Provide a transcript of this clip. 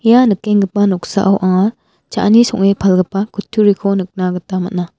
ia nikenggipa noksao anga cha·ani song·e palgipa kutturiko nikna gita man·a.